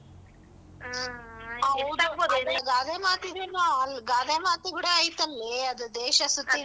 ಆ ಗಾದೆ ಮಾತ್ ಅಲ್ ಗಾದೆ ಮಾತ್ ಕೂಡ ಐತಲ್ಲೆ ಅದು ದೇಶ ಸುತ್ತಿ.